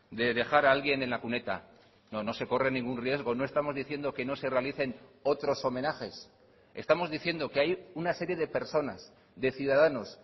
de dejar alguien en la cuneta no no se corre ningún riesgo no estamos diciendo que no se realicen otros homenajes estamos diciendo que hay una serie de personas de ciudadanos